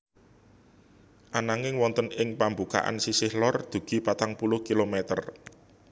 Ananging wonten ing pambukaan sisih lor dugi patang puluh kilometer